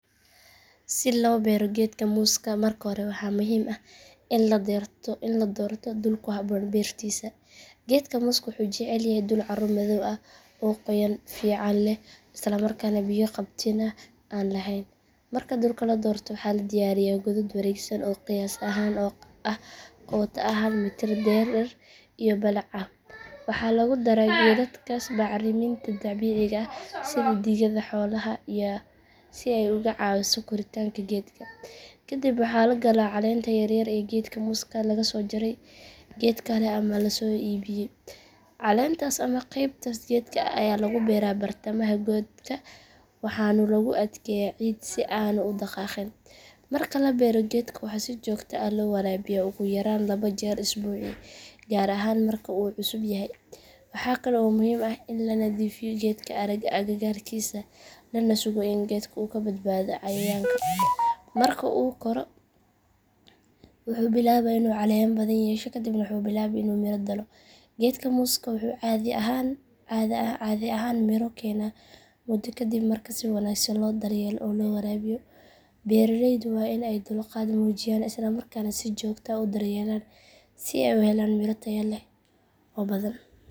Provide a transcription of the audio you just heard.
Si loo beero geedka muuska marka hore waxaa muhiim ah in la doorto dhul ku habboon beertiisa. Geedka muuska wuxuu jecel yahay dhul carro madow ah oo qoyaan fiican leh isla markaana biyo qabatin ah aan lahayn. Marka dhulka la doorto waxaa la diyaariyaa godad wareegsan oo qiyaas ahaan ah qoto ah hal mitir dherer iyo balac ah. Waxaa lagu daraa godadkaas bacriminta dabiiciga ah sida digada xoolaha si ay uga caawiso koritaanka geedka. Kadib waxaa la galaa caleenta yar ee geedka muuska laga soo jaray geed kale ama la soo iibiyay. Caleentaas ama qaybtaas geedka ah ayaa lagu beeraa bartamaha godka waxaana lagu adkeeyaa ciid si aanu u dhaqaaqin. Marka la beero geedka waxaa si joogto ah loo waraabiyaa ugu yaraan laba jeer usbuucii gaar ahaan marka uu cusub yahay. Waxaa kale oo muhiim ah in la nadiifiyo geedka agagaarkiisa lana sugo in geedka uu ka badbaado cayayaanka. Marka uu koro wuxuu bilaabaa inuu caleemo badan yeesho kadibna wuxuu bilaabaa inuu miro dhalo. Geedka muuska wuxuu caadi ahaan miro keenaa muddo ka dib marka si wanaagsan loo daryeelo oo loo waraabiyo. Beeraleydu waa in ay dulqaad muujiyaan isla markaana si joogto ah u daryeelaan si ay u helaan miro tayo leh oo badan.